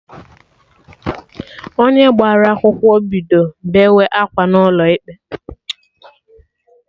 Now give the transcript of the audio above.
Onye gbara akwụkwọ bido beewe akwa n'ụlọ ikpe